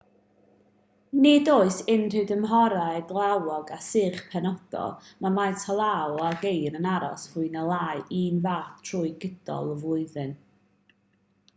nid oes unrhyw dymhorau glawog a sych penodol mae faint o law a geir yn aros fwy neu lai'r un fath trwy gydol y flwyddyn